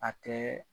A tɛ